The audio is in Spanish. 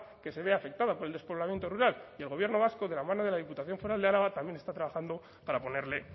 que se ve afectada por el despoblamiento rural y el gobierno vasco de la mano de la diputación foral de álava también está trabajando para ponerle